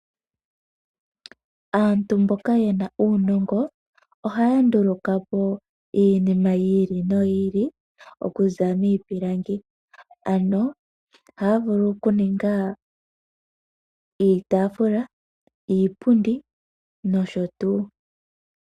Aantu mboka yena uunongo ohaya ndulukapo iinima yomaludhi gayoolokathana oku kutha miipilangi. Ohaya vulu okuninga iitafula, iipundi nosho tuu.